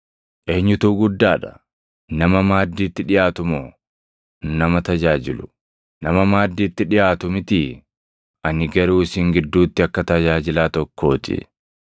Eenyutu guddaa dha? Nama maaddiitti dhiʼaatu moo nama tajaajilu? Nama maaddiitti dhiʼaatu mitii? Ani garuu isin gidduutti akka tajaajilaa tokkoo ti.